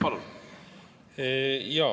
Palun!